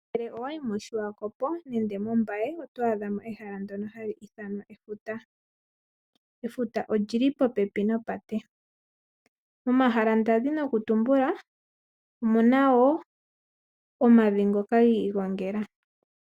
Ngele owayi moSwakopo nenge moMbaye oto adha mo ehala ndono hali ithanwa efuta, efuta odjili popepi nopate. Momahala ndazi noku tumbula omuna omavi ngoka gi igongela.